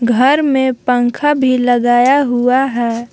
घर में पंखा भी लगाया हुआ है।